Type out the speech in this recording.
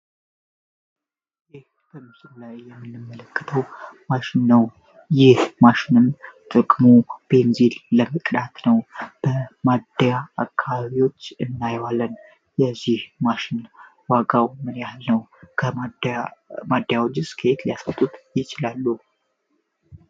ይህ በምስሉ ላይ የምንመለክተው ማሽን ነው። ይህ ማሽንን ጥቅሙ ፔንዚል ለመቅዳት ነው። በማዲያ አካባቢዎች እናይዋለን። የዚህ ማሽን ዋጋው ምን ያህል ነው። ከማዲያውጅ ስከይት ሊያሰጡት ይችላሉ።